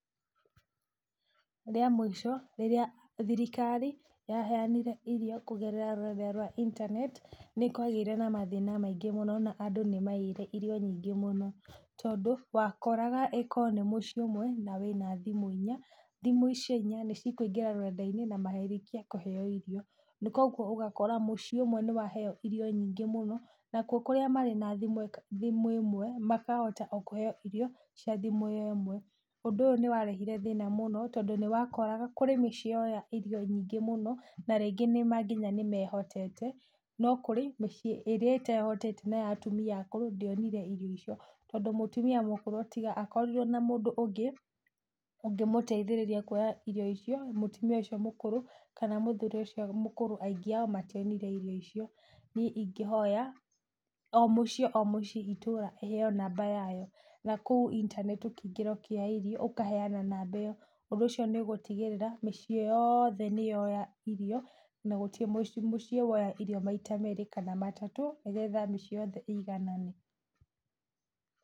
Rĩa mũico rĩrĩa thirikari yaheanire irio kũgerera rũrenda rwa intaneti nĩkwagĩire na mathĩna maingĩ mũno na andũ nĩmaiire irio nyingĩ mũno, tondũ, wakoragwo ĩ ko nĩ mũcií ũmwe na wĩna thimũ inya, thimũ icio inya nĩcikũingĩra rũrenda-inĩ na marĩkie kũheo irio na koguo ũgakora mũciĩ ũmwe nĩwaheo irio nyingĩ mũno, nakuo kũrĩa marĩ na thimũ ka thimũ ĩmwe makahota o kũheo irio cia thimũ ĩyo ĩmwe, ũndũ ũyũ nĩwarehire thĩna mũno tondũ nĩwakoraga kwĩ mĩciĩ yoya irio nyingĩ mũno, na rĩngĩ nĩma nginya nĩmehotete, no kũrĩ mĩciĩ ĩrĩa ĩtehotete na ya atumia akũrũ ndĩonire irio icio tondũ mũtumia mũkũrũ tiga akorirwo na mũndũ ũngĩ ũngĩmũteithĩrĩria kuoya irio icio, mũtumia ũcio mũkũrũ kana mũthuri ũcio aingĩ ao mationire irio icio, niĩ ingĩhoya, o mũciĩ o mũciĩ itũra ĩheo namba yayo, na kũu intaneti ũkĩingĩra ũkĩheo irio ũkaheana namba ĩyo, ũndũ ũcio nĩũgũtigĩrĩra mĩciĩ yothe nĩyoya irio, na gũtirĩ mũciĩ woya irio maita merĩ kana matatũ, nĩgetha mĩciĩ yothe ĩiganane.